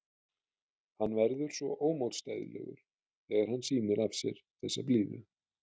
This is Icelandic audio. Hann verður svo ómótstæðilegur þegar hann sýnir af sér þessa blíðu.